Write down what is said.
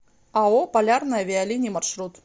ао полярные авиалинии маршрут